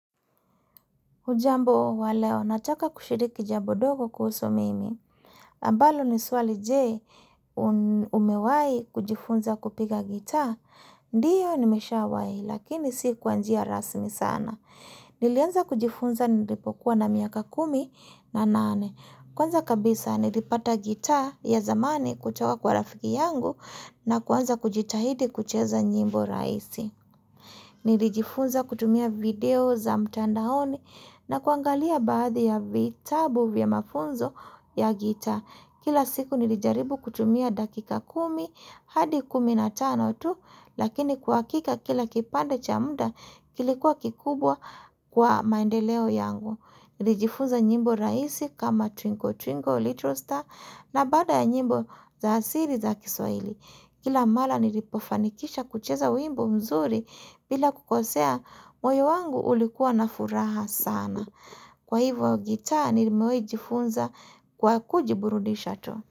Hujambo wa leo, nataka kushiriki jambo dogo kuhusu mimi. Ambalo ni swali je umewai kujifunza kupiga gitaa, ndiyo ni nimeshawahi, lakini si kwa njia rasmi sana. Nilianza kujifunza nilipokuwa na miaka kumi na nane. Kwanza kabisa nilipata gitaa ya zamani kutoka kwa rafiki yangu na kuanza kujitahidi kucheza nyimbo rahisi. Nilijifunza kutumia video za mtandaoni na kuangalia baadhi ya vitabu vya mafunzo ya gitaa. Kila siku nilijaribu kutumia dakika kumi hadi kumi na tano tu lakini kwa hakika kila kipande cha muda kilikuwa kikubwa kwa maendeleo yangu. Nilijifunza nyimbo rahisi kama twinkle twinkle little star na baada ya nyimbo za asili za kiswahili. Kila mara nilipofanikisha kucheza wimbo mzuri bila kukosea moyo wangu ulikuwa na furaha sana. Kwa hivyo gitaa nilimewahi jifunza kwa kujiburudisha tu.